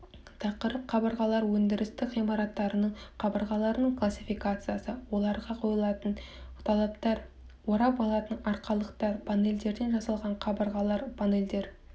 тақырып қабырғалар өндірістік ғимараттардың қабырғаларының классификациясы оларға қойылатын талаптар орап алатын арқалықтар панельдерден жасалған қабырғалар панельдер